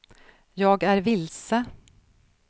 jag är vilse